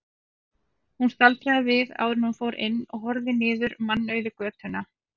Hún staldraði við áður en hún fór inn og horfði niður mannauða götuna.